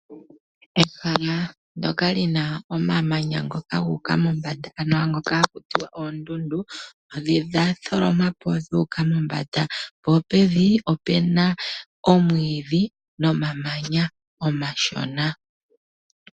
Ehala ndyoka li na omamanya ngoka guuka mombanda, ano ngoka haku tiwa oondundu, odha tholomwa po dhuuka mombanda, po pevi opu na omwiidhi nomamanya omashona.